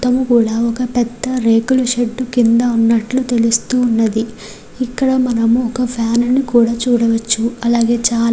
మొత్తము కూడా ఒక పెద్ధ రేకుల షెడ్ కిందన ఉన్నట్టు తెలుస్తున్నది. ఇక్కడ మనముమోక ఫ్యాన్ ని కూడా చూడవచ్చు అలాగే చాలా --